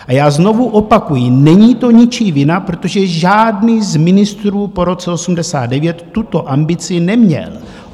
A já znovu opakuji, není to ničí vina, protože žádný z ministrů po roce 1989 tuto ambici neměl.